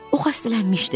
O xəstələnmişdi.